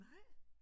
Nej?